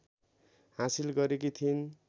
हासिल गरेकी थिइन्